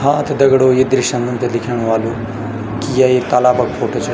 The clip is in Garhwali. हा त दगड़ियों ये दृश्य म हमते दिखेंणु ह्वालु कि य एक तालाब क फोटु च।